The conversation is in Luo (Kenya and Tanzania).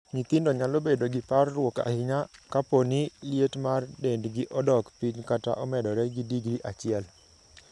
Nyithindo nyalo bedo gi parruok ahinya kapo ni liet mar dendgi odok piny kata omedore gi digri achiel.